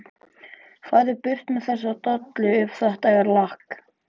FARÐU BURT MEÐ ÞESSA DOLLU EF ÞETTA ER LAKK.